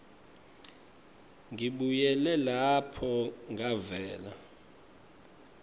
ngibuyele lapho ngavela